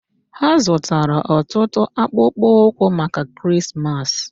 Ha zụtara ọtụtụ akpụkpọ ụkwụ maka Krismas